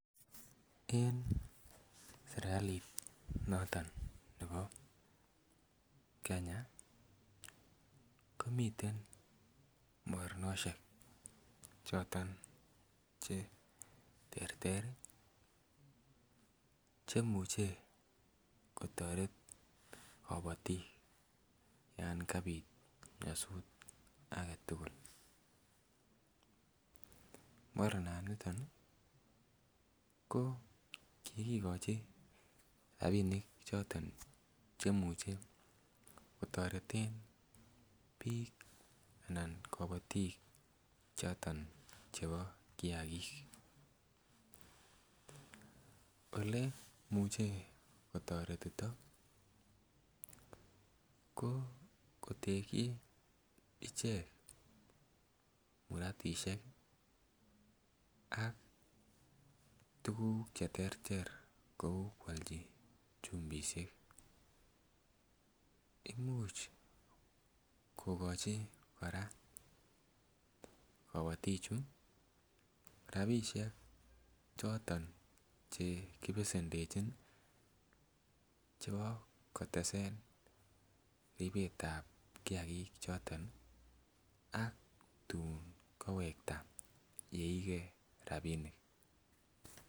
En serkali noton nebo Kenya komiten moroneshek choton cheterter cheimuche kotoret kobotik yon kabit nyosut agetukul, moronaniton ko. Kokikochi rabinik choton cheimuche kotoreten bik anan kobotik choton chebo kiyagik. Ole imuche kotoretito ko koteki icheket muratishek ak tukuk cheterter kou kwolchi chumbishek imuch kokochi Koraa koboti chuu rabishek choton chekibesendechin chebo kotesen ribetab kiyagik choton ak tun koowekta yeigee rabinik.